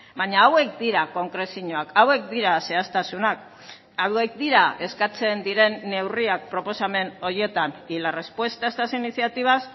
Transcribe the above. baina hauek dira konkrezioak hauek dira zehaztasunak hauek dira eskatzen diren neurriak proposamen horietan y la respuesta a estas iniciativas